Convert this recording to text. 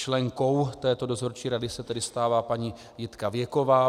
Členkou této dozorčí rady se tedy stává paní Jitka Věková.